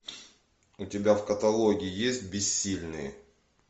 у тебя в каталоге есть бессильные